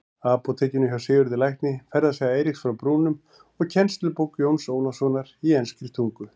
Apótekinu hjá Sigurði lækni, Ferðasaga Eiríks frá Brúnum og kennslubók Jóns Ólafssonar í enskri tungu.